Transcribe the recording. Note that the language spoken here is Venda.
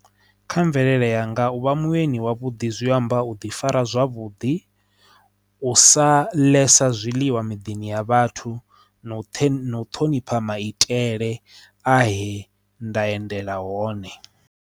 Kha mvelele yanga uvha mueni wavhuḓi zwi amba u ḓi fara zwavhuḓi u sa liga zwiḽiwa midini ya vhathu na u thenu ṱhonipha maitele a he nda endela hone.